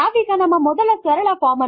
000737 000710 ಈಗ ಸಧ್ಯಕ್ಕೆ ನಾವು ಇದನ್ನು ಮುಗಿಸೋಣ